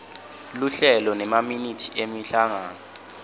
luhlelo nemaminithi emhlangano